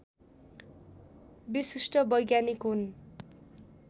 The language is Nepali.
विशिष्ट वैज्ञानिक हुन्